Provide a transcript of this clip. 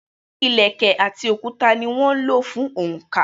Ilẹ̀kẹ̀ àti òkúta ní wón ń lò fún oǹkà.